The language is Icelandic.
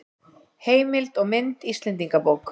Heimild og mynd Íslendingabók.